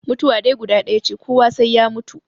Mutuwa dai guda ɗaya ce, kowa sai ya mutu.